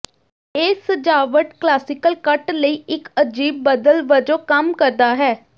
ਇਹ ਸਜਾਵਟ ਕਲਾਸੀਕਲ ਕੱਟ ਲਈ ਇਕ ਅਜੀਬ ਬਦਲ ਵਜੋਂ ਕੰਮ ਕਰਦਾ ਹੈ